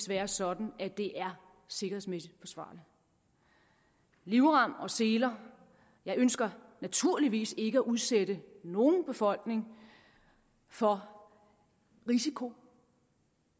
være sådan at det er sikkerhedsmæssigt forsvarligt livrem og seler jeg ønsker naturligvis ikke at udsætte nogen befolkning for risiko